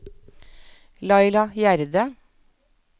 Laila Gjerde